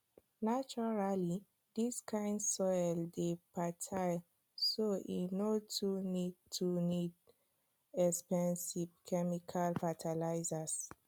naturally dis kind soil dey fertile so e no too need too need expensive chemical fertilizers